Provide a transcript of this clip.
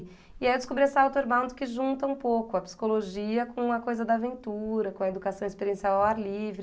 E aí eu descobri essa Outerbound que junta um pouco a psicologia com a coisa da aventura, com a educação experiencial ao ar livre.